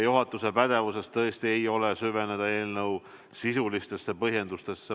Juhatuse pädevuses tõesti ei ole süveneda eelnõu sisulistesse põhjendustesse.